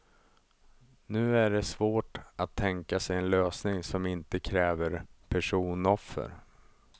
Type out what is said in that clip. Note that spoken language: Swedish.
Nu är det svårt att tänka sig en lösning som inte kräver personoffer.